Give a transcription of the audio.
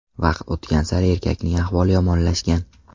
Vaqt o‘tgan sari erkakning ahvoli yomonlashgan.